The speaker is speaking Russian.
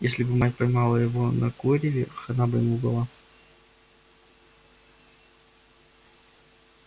если бы мать поймала его на куреве хана бы ему была